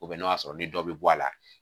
n'o y'a sɔrɔ dɔ bɛ bɔ a la